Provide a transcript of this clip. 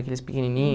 Aqueles pequenininho.